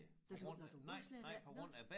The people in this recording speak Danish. Nåh du nåh du må slet ikke nåh